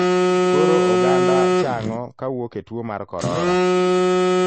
Koro oganda chang'o kawuok e tuo mar korora.